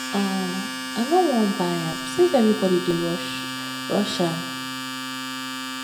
um i no wan buy am since everybody dey rush rush am